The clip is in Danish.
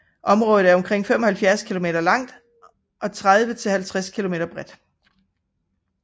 Området er omkring 75 kilometer langt og 30 til 50 kilometer bredt